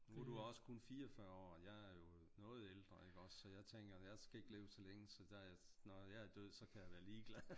Nu er du også kun 44 år jeg er jo noget ældre ikke også så jeg tænker jeg skal ikke leve så længe så når jeg er død så kan jeg være ligeglad